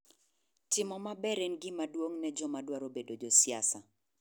Timo maber en gima duong' ne joma dwaro bedo josiasa